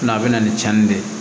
a bɛ na ni tiɲɛni de ye